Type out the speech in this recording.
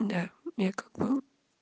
да я как бы